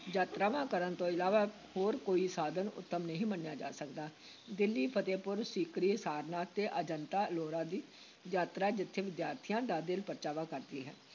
ਯਾਤਰਾਵਾਂ ਕਰਨ ਤੋਂ ਇਲਾਵਾ ਹੋਰ ਕੋਈ ਸਾਧਨ ਉੱਤਮ ਨਹੀਂ ਮੰਨਿਆ ਜਾ ਸਕਦਾ, ਦਿੱਲੀ, ਫਤਹਿਪੁਰ ਸੀਕਰੀ, ਸਾਰਨਾਥ ਤੇ ਅਜੰਤਾ-ਅਲੋਰਾ ਦੀ ਯਾਤਰਾ ਜਿੱਥੇ ਵਿਦਿਆਰਥੀਆਂ ਦਾ ਦਿਲ ਪਰਚਾਵਾ ਕਰਦੀ ਹੈ,